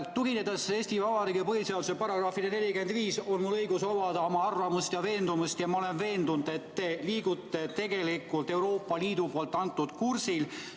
Tuginedes Eesti Vabariigi põhiseaduse §-le 45, on mul õigus omada oma arvamust ja veendumust, ja ma olen veendunud, et te liigute tegelikult Euroopa Liidu antud kursil.